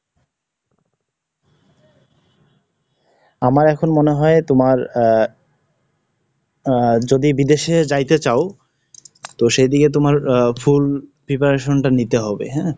আমার এখন মনে হয় তোমার অ্যা, আহ যদি বিদেশে যাইতে চাও? তো সেদিকে তোমার আ Full preparation টা নিতে হবে, হ্যাঁ।